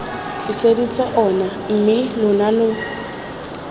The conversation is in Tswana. tliseditse ona mme lona lo